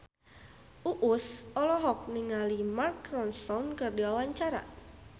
Uus olohok ningali Mark Ronson keur diwawancara